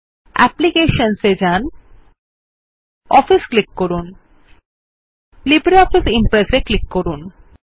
applications এ যান gtOffice click করুন gt লিব্রিঅফিস Impress এ ক্লিক করুন